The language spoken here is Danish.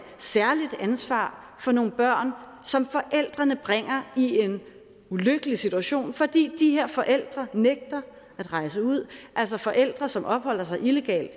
særligt ansvar for nogle børn som forældrene bringer i en ulykkelig situation fordi de her forældre nægter at rejse ud altså forældre som opholder sig illegalt i